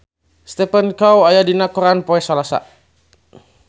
Stephen Chow aya dina koran poe Salasa